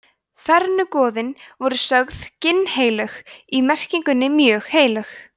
fornu goðin voru sögð ginnheilög í merkingunni mjög heilög